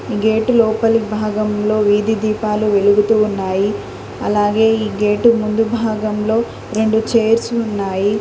ఆ గేటు లోపలి భాగంలో వీధి దీపాలు వెలుగుతూ ఉన్నాయి అలాగే ఈ గేటు ముందు భాగంలో రెండు చైర్స్ ఉన్నాయి.